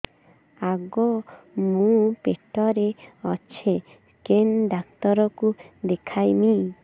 ଆଗୋ ମୁଁ ପେଟରେ ଅଛେ କେନ୍ ଡାକ୍ତର କୁ ଦେଖାମି